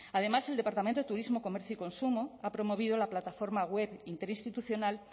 además el departamento de turismo comercio y consumo ha promovido la plataforma web interinstitucional